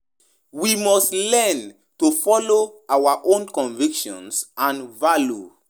When we question our spiritual leaders with respect, humility and an open heart, we dey more likely to recieve guildance.